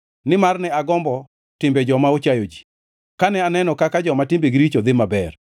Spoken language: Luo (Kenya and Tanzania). Nimar ne agombo timbe joma ochayo ji kane aneno kaka joma timbegi richo dhi maber.